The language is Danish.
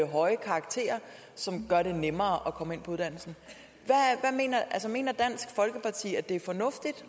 høje karakterer som gør det nemmere at komme ind på uddannelsen mener dansk folkeparti at det er fornuftigt